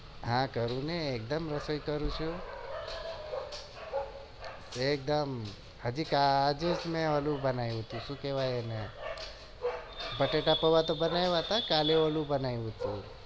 હા કરી ને એકદમ રસોઈ કરીશું એકદમ બટેટા પોઆ બનાવ્યા હતા કાલે ઓંલું બતાવ્યું હતું